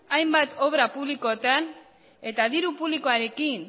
hainbat obra publikotan eta diru publikoarekin